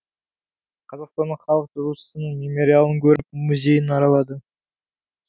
қазақстанның халық жазушысының мемориалын көріп музейін аралады